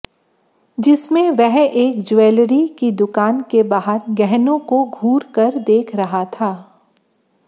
जिसमें वह एक ज्वैलरी की दुकान के बाहर गहनों को घूर कर देख रहा था